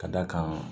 Ka d'a kan